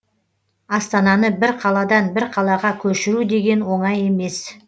астананы бір қаладан бір қалаға көшіру деген оңай емес